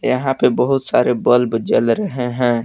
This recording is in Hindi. यहां पे बहुत सारे बल्ब जल रहे हैं।